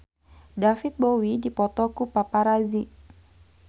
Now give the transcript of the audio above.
David Bowie dipoto ku paparazi